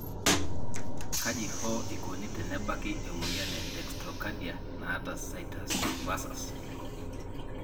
kaji hoo ikoni tenebaki emoyian e dextrocardia naata situs inversus?